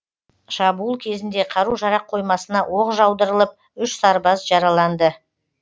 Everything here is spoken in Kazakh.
шабуыл кезінде қару жарақ қоймасына оқ жаудырылып үш сарбаз жараланды